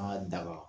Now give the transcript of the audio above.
An ka daba